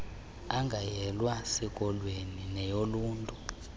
engayelwa sikolweni neyoluntu